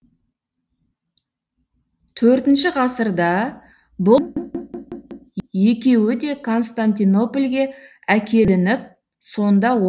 төртінші ғасырда бұл екеуі де константинопольге әкелініп сонда о